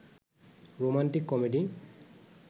romantic comedy